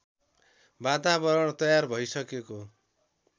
वातावरण तयार भइसकेको